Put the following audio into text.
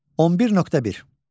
11.1.